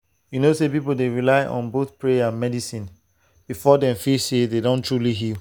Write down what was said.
you know say some people dey rely on both prayer and medicine before dem feel say dem don truly heal.